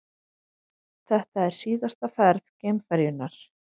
Þetta er síðasta ferð geimferjunnar